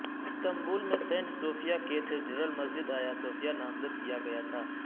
Istanbul میں saint sophia cathedral مسجد ایاصوفیہ نامزد کیا گیا تھا